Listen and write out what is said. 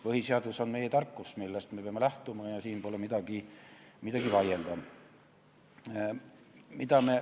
Põhiseadus on meie tarkus, millest me peame lähtuma, ja siin pole midagi vaielda.